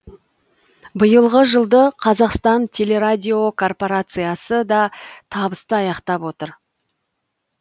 биылғы жылды қазақстан телерадиокорпорациясы да табысты аяқтап отыр